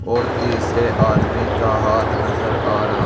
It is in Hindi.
और तीसरे आदमी का हाथ नजर आ रहा--